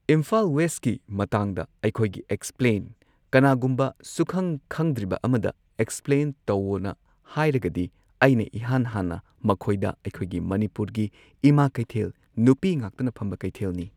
ꯏꯝꯐꯥꯜ ꯋꯦꯁꯀꯤ ꯃꯇꯥꯡꯗ ꯑꯩꯈꯣꯢꯒꯤ ꯑꯦꯛꯁꯄ꯭ꯂꯦꯟ ꯀꯅꯥꯒꯨꯝꯕ ꯁꯨꯛꯈꯪ ꯈꯪꯗ꯭ꯔꯤꯕ ꯑꯃꯗ ꯑꯦꯛꯁꯄ꯭ꯂꯦꯟ ꯇꯧꯋꯣꯅ ꯍꯥꯏꯔꯒꯗꯤ ꯑꯩꯅ ꯏꯍꯥꯟ ꯍꯥꯟꯅ ꯃꯈꯣꯏꯗ ꯑꯩꯈꯣꯢꯒꯤ ꯃꯅꯤꯄꯨꯔꯒꯤ ꯏꯃꯥ ꯀꯩꯊꯦꯜ ꯅꯨꯄꯤ ꯉꯥꯛꯇꯅ ꯐꯝꯕ ꯀꯩꯊꯦꯜꯅꯤ꯫